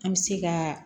An bɛ se ka